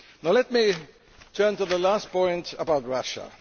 Let me turn to the last point about Russia.